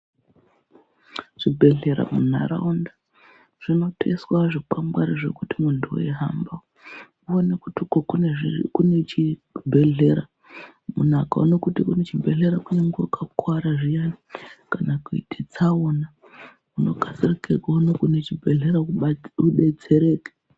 Zvibhhlera mundaraunda zvinoiswa zvikwangwangwari zvekuti muntu hweihamba uine kti uko kunechebhehlera .Munhu ukaone kuti kunechibhehlera kunyangwe wakakuvara zviyane kana kuite tsaona ,unokasira kuona panechibhehlera udetsereke.